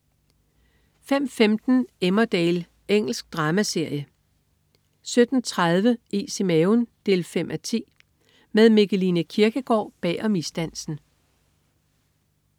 05.15 Emmerdale. Engelsk dramaserie 17.30 Is i maven 5:10. Med Mikkeline Kierkgaard bag om isdansen